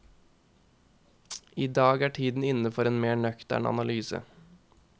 Idag er tiden inne for en mer nøktern analyse.